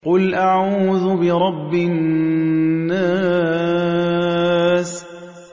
قُلْ أَعُوذُ بِرَبِّ النَّاسِ